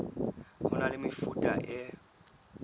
ho na le mefuta e